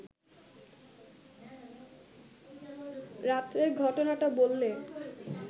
রাত্রের ঘটনাটা বললে